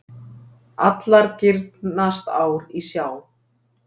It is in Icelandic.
Allar girnast ár í sjá.